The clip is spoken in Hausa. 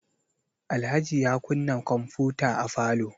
Alhaji ya kunna kwamfuta a falo.